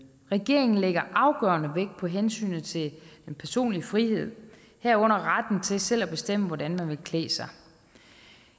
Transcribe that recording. regeringen lægger afgørende vægt på hensynet til den personlige frihed herunder retten til selv at bestemme hvordan man vil klæde sig